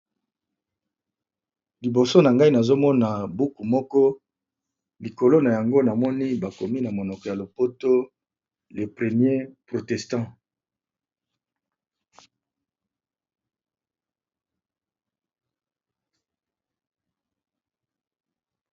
Liboso nanga I Nazo mona eza buku